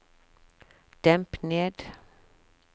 demp ned